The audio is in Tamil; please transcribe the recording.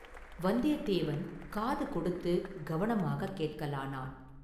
வந்தியத்தேவன் காது கொடுத்துக் கவனமாகக் கேட்கலானான்.